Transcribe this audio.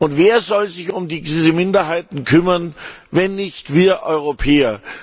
Und wer soll sich um diese Minderheiten kümmern, wenn nicht wir Europäer?